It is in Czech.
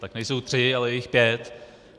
Tak nejsou tři, ale je jich pět.